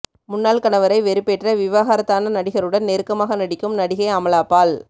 முன்னாள் கணவரை வெறுப்பேற்ற விவாகரத்தான நடிகருடன் நெருக்கமாக நடிக்கும் நடிகை அமலாபால்